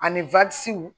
Ani